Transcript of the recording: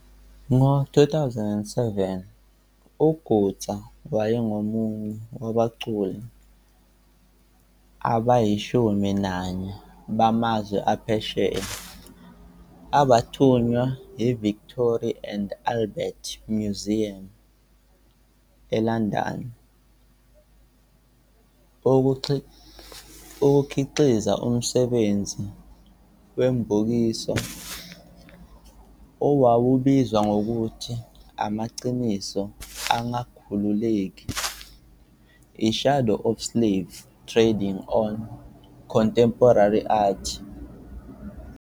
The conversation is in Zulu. Ngo-2007, uGutsa wayengomunye wabaculi abayishumi nanye bamazwe aphesheya abathunywa yiVictoria and Albert Museum, eLondon, ukukhiqiza umsebenzi wombukiso owawubizwa ngokuthi 'Amaqiniso Angakhululeki- I-Shadow of Slave Trading on Contemporary Art'.